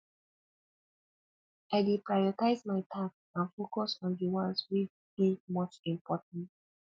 i dey prioritize my tasks and focus on di ones wey dey much important